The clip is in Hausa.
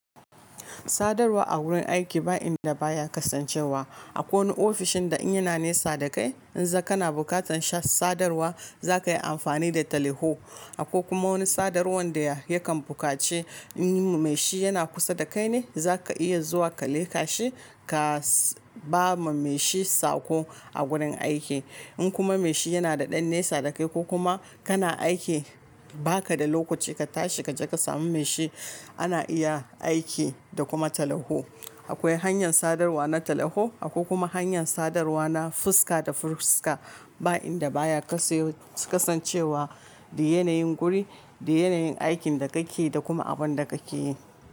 Sadarwa a wurin aiki ba inda baya kasancewa. Akwai wani ofishin da ina nesa da kai, in za kana bukatan sha sadarwa za ka yi amfani da taliho. Akwai kuma wani sadarwar da yakan bukace in mai shi yana kusa da kai ne za ka iya zuwa ka leka shi ka ba ma mai shi sako a gurin aiki. In kuma mai shi yana da ɗan nesa da kai ko kuma kana aiki ba ka da lokaci ka tashi ka je ka samu mai shi, ana iya aiki da kuma taliho. Akwai hanyar sadarwa na taliho akwai kuma hanyar sadarwa na fuska da fuska ba inda baya kaso kasancewa da yanayin guri, da yanayin aikin da kake yi da kuma abin da kake yi.